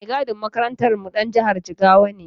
Mai gadin makarantarmu ɗan jihar Jigawa ne.